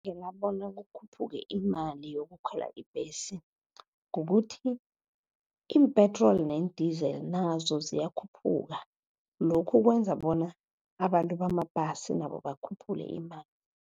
Ngingabona kukhuphuke imali yokukhwela ibhesi, kukuthi iimpetroli neendizeli nazo ziyakhuphuka. Lokhu kwenza bona abantu bamabhasi nabo bakhuphule imali.